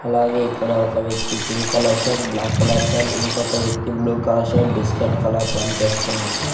అలాగే ఇక్కడ ఒక వ్యక్తి pink colour shirt black colour pant ఇంకొక వ్యక్తి blue colour shirt biscuit colour pant వేసుకున్నట్టు --